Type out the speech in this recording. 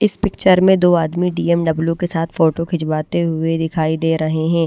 इस पिक्चर में दो आदमी बी_एम_डब्ल्यू के साथ फोटो खिंचवाते हुए दिखाई दे रहे हैं।